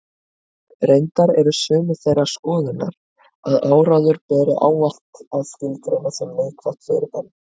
Reyndar eru sumir þeirrar skoðunar að áróður beri ávallt að skilgreina sem neikvætt fyrirbæri.